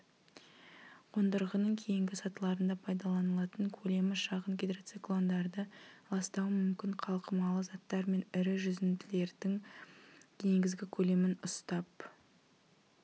қондырғының кейінгі сатыларында пайдаланылатын көлемі шағын гидроциклондарды ластауы мүмкін қалқымалы заттар мен ірі жүзінділердің негізгі көлемін ұстап